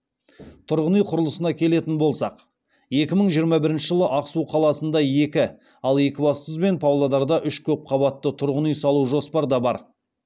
тұрғын үй құрылысына келетін болсақ екі мың жиырма бірінші жылы ақсу қаласында екі ал екібастұз бен павлодарда үш көпқабатты тұрғын үй салу жоспарда бар